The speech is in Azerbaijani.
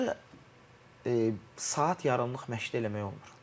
Bunları saat yarımlıq məşqdə eləmək olmur.